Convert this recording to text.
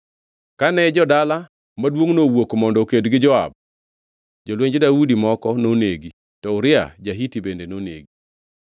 Kane jo-dala maduongʼno owuok mondo oked gi Joab, jolwenj Daudi moko nonegi; to Uria ja-Hiti bende nonegi.